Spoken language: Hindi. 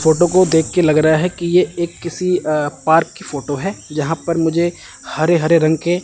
फोटो को देख के लग रहा है कि ये एक किसी अं पार्क की फोटो है जहां पर मुझे हरे-हरे रंग के --